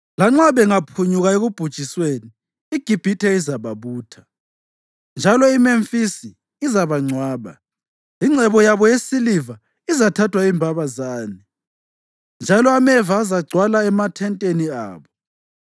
Lanxa bengaphunyuka ekubhujisweni, iGibhithe izababutha, njalo iMemfisi izabangcwaba. Ingcebo yabo yesiliva izathathwa yimbabazane, njalo ameva azagcwala emathenteni abo.